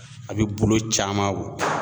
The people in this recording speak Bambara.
A bi bolo caman